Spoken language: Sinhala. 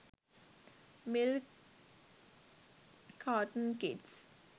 milk carton kids